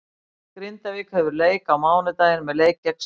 Grindavík hefur leik á mánudaginn með leik gegn Stjörnunni.